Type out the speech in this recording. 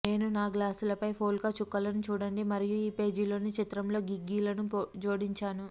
నేను నా గ్లాసులపై పోల్కా చుక్కలను చూడండి మరియు ఈ పేజీలోని చిత్రంలో గిగ్గీలను జోడించాను